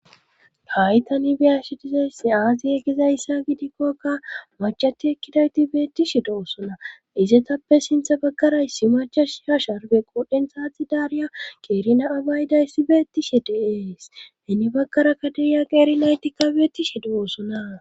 hay tani biyashi dizaysse aaziye gizayssa gidikkokka mactii ekkidayti beettishe do7osona izetappe sintha baggaraysi macha shi ha sharbe qodhen saati daariya qeerina abaaydayssi beettishe deees hini baggara kaderiya qeerinaytikka beettishe do7oosona